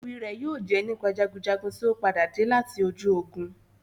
Éwi rẹ yóò jẹ nípa jagunjagun tio padade lati ojú ogun.